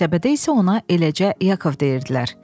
Qəsəbədə isə ona eləcə Yakov deyirdilər.